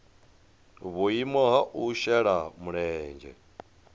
vhuimo ha u shela mulenzhe